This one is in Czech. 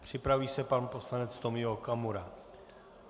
Připraví se pan poslanec Tomio Okamura.